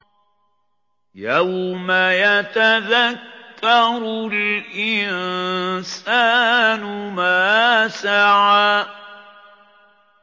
يَوْمَ يَتَذَكَّرُ الْإِنسَانُ مَا سَعَىٰ